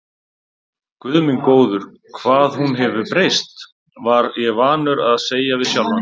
Guð minn góður, hvað hún hefur breyst, var ég vanur að segja við sjálfan mig.